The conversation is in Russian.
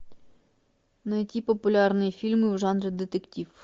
найти популярные фильмы в жанре детектив